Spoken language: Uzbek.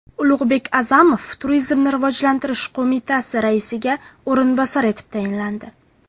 Ulug‘bek A’zamov Turizmni rivojlantirish qo‘mitasi raisiga o‘rinbosar etib tayinlandi.